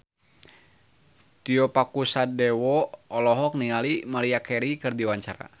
Tio Pakusadewo olohok ningali Maria Carey keur diwawancara